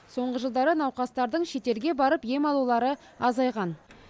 соңғы жылдары науқастардың шетелге барып ем алулары азайған